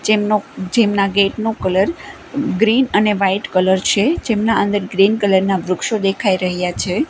જેમનો જેમના ગેટ નું કલર ગ્રીન અને વાઈટ કલર છે જેમના અંદર ગ્રીન કલર ના વૃક્ષો દેખાય રહ્યા છે.